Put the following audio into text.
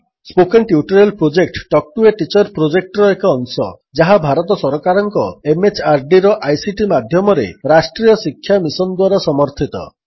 spoken tutorial project talk to a teacher ପ୍ରୋଜେକ୍ଟର ଏକ ଅଂଶ ଯାହା ଭାରତ ସରକାରଙ୍କ MHRDର ଆଇସିଟି ମାଧ୍ୟମରେ ରାଷ୍ଟ୍ରୀୟ ଶିକ୍ଷା ମିଶନ୍ ଦ୍ୱାରା ସମର୍ଥିତ